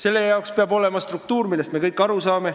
Selle jaoks peab olema struktuur, millest me kõik aru saame.